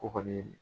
O kɔni